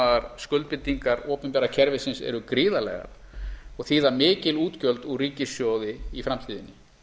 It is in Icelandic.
ófjármagnaðar skuldbindingar opinbera kerfisins eru gríðarlegar og þýða mikil útgjöld úr ríkissjóði í framtíðinni